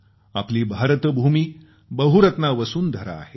आपली भारत भूमी बहुरत्ना वसुंधरा आहे